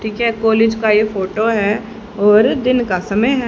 ठीक है कॉलेज का ये फोटो है और दिन का समय है।